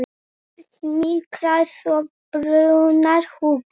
Hnyklar svo brýnnar hugsi.